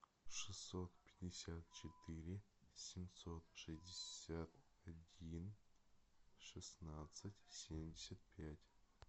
шестьсот пятьдесят четыре семьсот шестьдесят один шестнадцать семьдесят пять